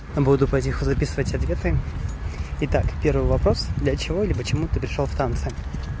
буду по телефону записывать ответы итак первый вопрос для чего или почему ты пришёл в танцы